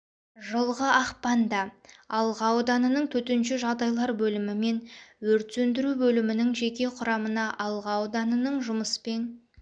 жылғы ақпанда алға ауданының төтенше жағдайлар бөлімі мен өрт сөндіру бөлімінің жеке құрамына алға ауданының жұмыспен